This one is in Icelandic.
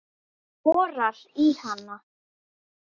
Borar í hana.